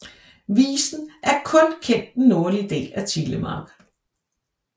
Visen er kun kendt den nordlige del af Telemark